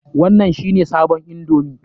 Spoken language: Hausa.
Wannan shi ne sabon indomi?